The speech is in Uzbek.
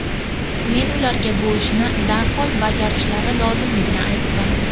Men ularga bu ishni darhol bajarishlari lozimligini aytdim.